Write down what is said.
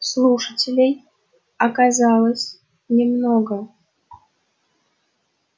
слушателей оказалось немного